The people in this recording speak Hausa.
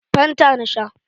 Fanta na sha.